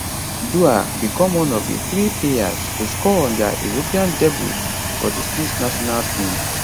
duah become one of di three players to score on dia european debut for di swiss national team